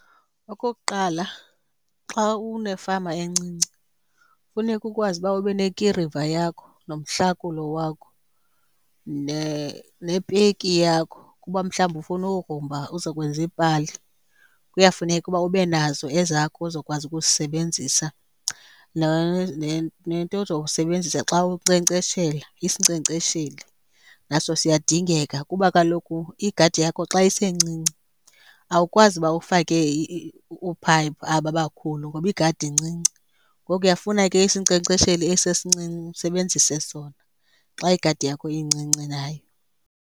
Okokuqala, xa unefama encinci funeka ukwazi uba ube nekiriva yakho nomhlakulo wakho nepeki yakho. Ukuba mhlawumbi ufuna ukugrumba uzokwenza iipali, kuyafuneka uba ube nazo ezakho uzokwazi ukuzisebenzisa. Nento ozoyisebenzisa xa unkcenkceshela, isinkcenkcesheli, naso siyadingeka kuba kaloku igadi yakho xa isencinci awukwazi uba ufake oophayiphi aba bakhulu ngoba igadi incinci. Ngoku uyawufuna ke isinkcenkcesheli esi sincinci usebenzise sona xa igadi yakho incinci nayo.